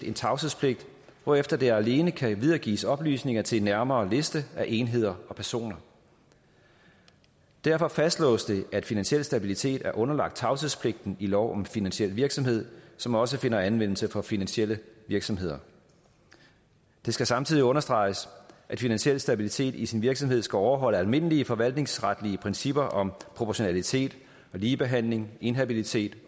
en tavshedspligt hvorefter der alene kan videregives oplysninger til en nærmere liste af enheder og personer derfor fastlås det at finansiel stabilitet er underlagt tavshedspligten i lov om finansiel virksomhed som også finder anvendelse for finansielle virksomheder det skal samtidig understreges at finansiel stabilitet i sin virksomhed skal overholde almindelige forvaltningsretlige principper om proportionalitet ligebehandling inhabilitet